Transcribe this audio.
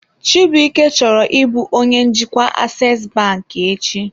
Chibuike chọrọ ịbụ onye njikwa Aseesi banki echi.